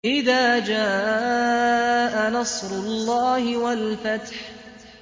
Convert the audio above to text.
إِذَا جَاءَ نَصْرُ اللَّهِ وَالْفَتْحُ